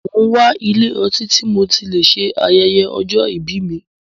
Mo n wá ilé ọtí tí mo tí lè ṣe ayẹyẹ ọjọ́ ìbí mí.